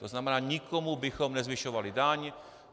To znamená, nikomu bychom nezvyšovali daň.